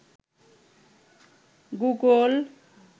Google